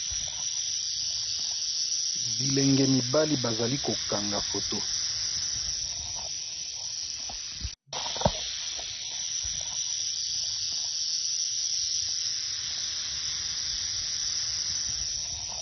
Bilenge mibali bazali kokanga foto